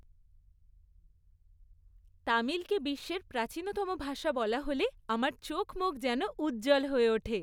তামিলকে বিশ্বের প্রাচীনতম ভাষা বলা হলে আমার চোখমুখ যেন উজ্জ্বল হয়ে ওঠে।